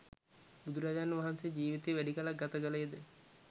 බුදුරජාණන් වහන්සේ ජීවිතයේ වැඩි කලක් ගත කළේ ද